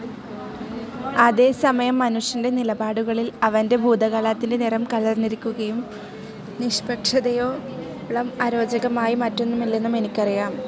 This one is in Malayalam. അതേസമയം മനുഷ്യൻ്റെ നിലപാടുകളിൽ അവൻ്റെ ഭൂതകാലത്തിൻ്റെ നിറംകലർന്നിരിക്കുമെന്നും നിക്ഷ്പക്ഷതയോളംഅരോചകമായി മറ്റൊന്നുമില്ലെന്നും എനിക്കറിയാം.